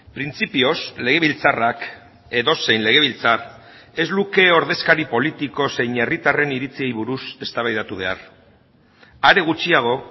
printzipioz legebiltzarrak edozein legebiltzar ez luke ordezkari politiko zein herritarren iritziei buruz eztabaidatu behar are gutxiago